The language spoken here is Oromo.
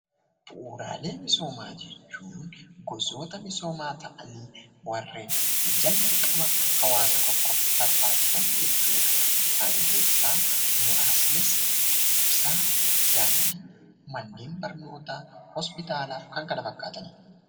Bu'uuraalee misoomaa jechuun gosoota misoomaa ta'anii warreen dirqama hawaasa tokkoof barbaachisan jechuudha. Isaan keessaa muraasnis ibsaa, daandii, manneen barnootaa, hospitalaa fi kanneen kana fakkaatanidha.